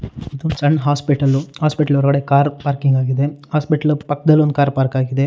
ಇದು ಒಂದು ಸಣ್ಣ ಹಾಸ್ಪಿಟಲ್ ಹಾಸ್ಪಿಟಲ್ ಒಳಗಡೆ ಕಾರ್ ಪಾರ್ಕಿಂಗ್ ಆಗಿದೆ ಹಾಸ್ಪಿಟಲ್ ಪಕ್ಕದಲ್ಲಿ ಒಂದ್ಕಾರ್ ಪಾರ್ಕಿಂಗ್ ಆಗಿದೆ.